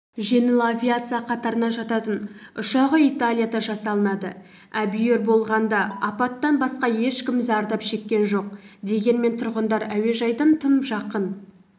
жеңіл авиация қатарына жататын ұшағы италияда жасалынады әбүйір болғанда апаттан басқа ешкім зардап шеккен жоқ дегенмен тұрғындар әуежайдың тым жақын